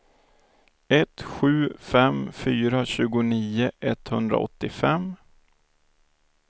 ett sju fem fyra tjugonio etthundraåttiofem